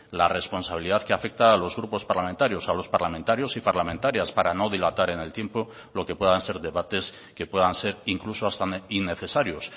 la responsabilidad que afecta a los grupos parlamentarios a los parlamentarios y parlamentarias para no dilatar en el tiempo lo que puedan ser debates que puedan ser incluso hasta innecesarios